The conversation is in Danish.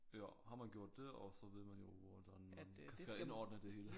Ja har man gjort det og så ved man jo hvordan man skal indordne det hele